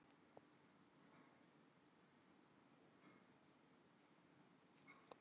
Hefur ekki sest við skrifborðið alla helgina.